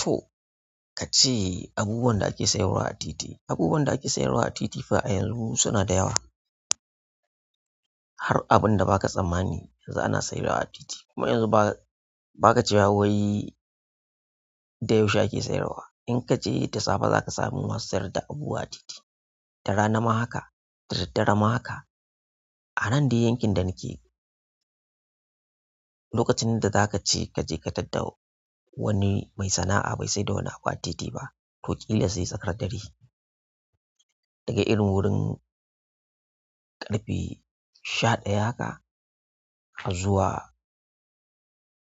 To, ka ce abubuwan da ake sayarwa a titi. Abubuwan da ake sayarwa a titi fa a yanzu suna da yawa. Har abin da baka tsammani yanzu ana sayarwa a tilti kuma yanzu ba, baka cewa wai da yaushe ake sayarwa in ka je da safe za ka sami masu sayar da abu a titi. Da rana ma haka, da daddare ma haka. A nan dai yankin da nake lokacin da zaka ce ka je ka tadda wani mai sana'a bai sai da wani abu a titi ba, to ƙila sai tsakar dare. Daga irin wurin ƙarfe sha ɗaya haka har zuwa